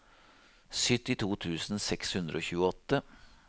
syttito tusen seks hundre og tjueåtte